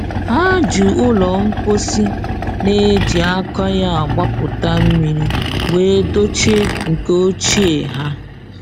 Ha ji ụlọ mposi na-eji aka ya agbapụta mmiri wee dochie nke ochie ha.